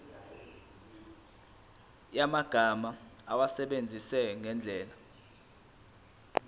yamagama awasebenzise ngendlela